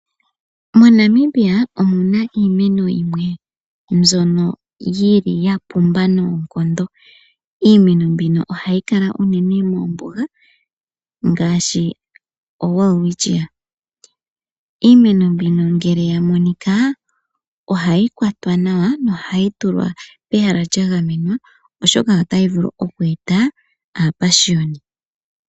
MoNamibia omuna iimeno yimwe mbyono yi li yapumba noonkondo, iimeno mbino oha yi kala unene moombuga, ngaashi o (welwitchia). Iimeno mbino ngele ya monika, oha yi kwatwa nawa no ha yi tulwa pegala lya gamenwa oshoka ota yi vulu okweeta aapashiyoni.